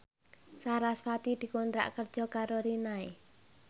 sarasvati dikontrak kerja karo Rinnai